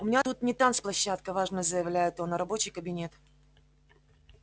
у меня тут не танцплощадка важно заявляет он а рабочий кабинет